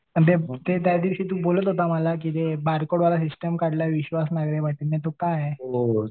पण ते त्या दिवशी तू मला बोलत होता की जे सिस्टम काढलाय विश्वास नांगरे पाटील ने तो काय आहे?